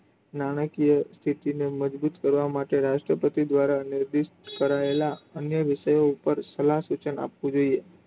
નાણાકીય સ્થિતિ ને મજબુત કરવા માટે રાષ્ટ્રપતિ દ્વારા list કરાયેલા અને વિષયો પર સૂચન આપવું જોઈએ.